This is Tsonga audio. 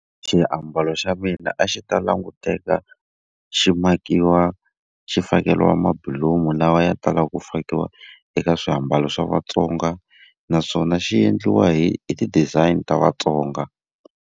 Xiambalo xa mina a xi ta languteka xi makiwa xi fakeriwa mabulomu lawa ya talaka ku fakiwa eka swiambalo xa vaTsonga, naswona xi endliwa hi hi ti-design ta Vatsonga.